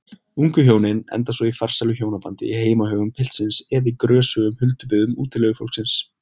Ungu hjónin enda svo í farsælu hjónabandi í heimahögum piltsins eða í grösugum huldubyggðum útilegufólksins.